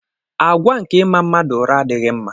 Àgwà nke ịma mmadụ ụra adịghị mma.